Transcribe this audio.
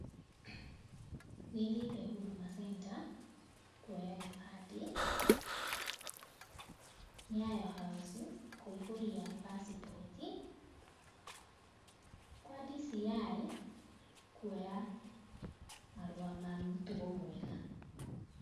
Nĩthiĩte Huduma Center kwoya gĩbandĩ, Nyayo House kũiyũria passport, kwa DCI kwoya, marũa ma mũtugo mwega.